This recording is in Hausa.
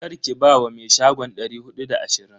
Karki ba wa me shagon dari hudu da ashirin.